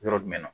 Yɔrɔ jumɛn na